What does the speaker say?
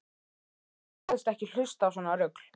Sagðist ekki hlusta á svona rugl.